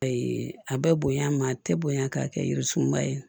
a bɛ bonya ma a tɛ bonya k'a kɛ jirisunba ye